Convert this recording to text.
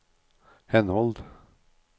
henhold